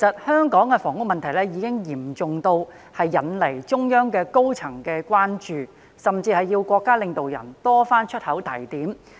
香港的房屋問題嚴重，不但引起中央高層的關注，甚至要國家領導人多次開口提點。